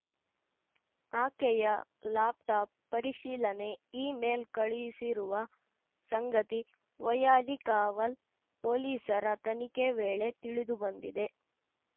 ಆಕೆಯ ಲ್ಯಾಪ್‌ಟಾಪ್‌ ಪರಿಶೀಲನೆ ಇಮೇಲ್‌ ಕಳುಹಿಸಿರುವ ಸಂಗತಿ ವೈಯಾಲಿಕಾವಲ್‌ ಪೊಲೀಸರ ತನಿಖೆ ವೇಳೆ ತಿಳಿದು ಬಂದಿದೆ